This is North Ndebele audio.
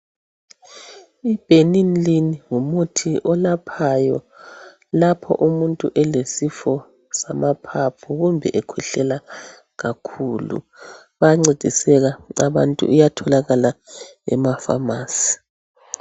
I Benylin ngumuthi olaphayo lapho umuntu elesifo samaphaphu kumbe ekhwehlela kakhulu bayancediseka abantu, uyatholakala emafamasi